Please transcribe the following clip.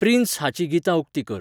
Prince हाची गितां उक्ती कर